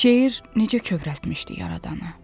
Şeir necə kövrəltmişdi yaradanı.